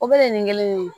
O bɛ nin kelen de ye